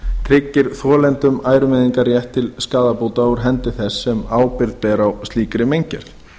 tryggir þolendum ærumeiðingarrétt til skaðabóta úr hendi þess sem ábyrgð ber á slíkri meingerð